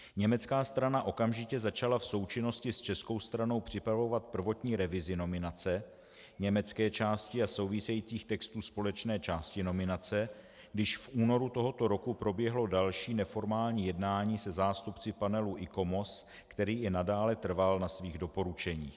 Německá strana okamžitě začala v součinnosti s českou stranou připravovat prvotní revizi nominace německé části a souvisejících textů společné části nominace, když v únoru tohoto roku proběhlo další neformální jednání se zástupci panelu ICOMOS, který i nadále trval na svých doporučeních.